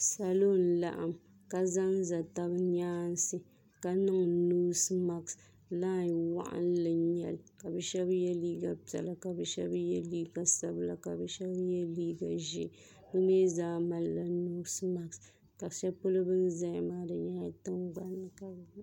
Salo n laɣim ka zanza taba nyaansi ka niŋ noosi maasi lai woɣinli n nyɛli ka bɛ sheba ye liiga sabila ka sheba ye liiga ʒee bɛ mee zaa malila noosi maasi ka sheli polo bini zaya maa nyɛ tingbanni ka bɛ be.